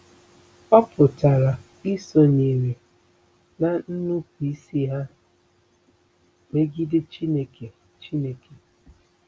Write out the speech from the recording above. Ọ pụtara isonyere ná nnupụisi ha megide Chineke. Chineke.